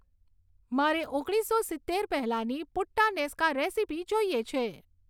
મારે ઓગણીસો સિત્તેર પહેલાંની પુટ્ટાનેસ્કા રેસીપી જોઈએ છે